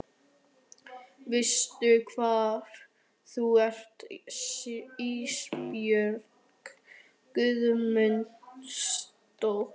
Veistu hvar þú ert Ísbjörg Guðmundsdóttir?